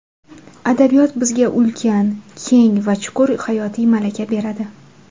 Adabiyot bizga ulkan, keng va chuqur hayotiy malaka beradi.